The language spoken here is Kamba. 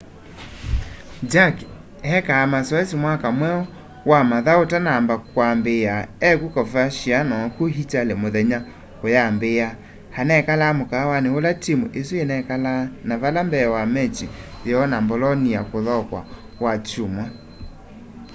jarque eekaa masoesi mwaka mweu wa mathau utanamba kwambiia e ku coverciano ku italy muthenya uyambiia anekalaa mukaawani ula timu isu inekalaa na vala mbee wa machi yoo na bolonia kuthaukwa wakyumwa